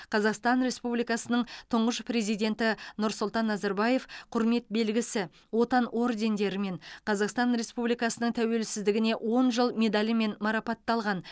қазақстан республикасының тұңғыш президенті нұрсұлтан назарбаев құрмет белгісі отан ордендерімен қазақстан республикасының тәуелсіздігіне он жыл медалімен марапатталған